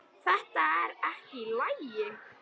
Þetta er ekki í lagi!